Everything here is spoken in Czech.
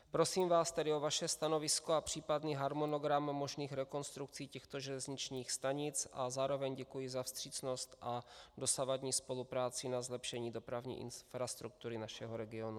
Prosím vás tedy o vaše stanovisko a případný harmonogram možných rekonstrukcí těchto železničních stanic a zároveň děkuji za vstřícnost a dosavadní spolupráci na zlepšení dopravní infrastruktury našeho regionu.